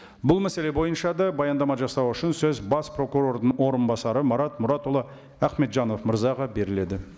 бұл мәселе бойынша да баяндама жасау үшін сөз бас прокурордың орынбасары марат мұратұлы ахметжанов мырзаға беріледі